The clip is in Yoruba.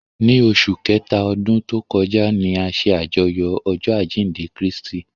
Ni óṣù Kẹta tọdun to kọja ni a ṣe ajọyọ ọjọ ajinde Kristi